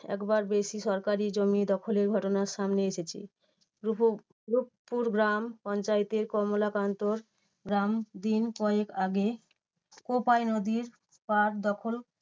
একবার বেশি সরকারি জমি দখলের ঘটনা সামনে এসেছে। রূপ~ রূপপুর গ্রাম পঞ্চায়েতের কমলাকান্ত গ্রাম দিন কয়েক আগে কোপাই নদীর পার দখল